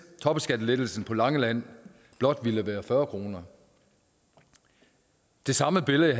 topskattelettelsen på langeland blot ville være på fyrre kroner det samme billede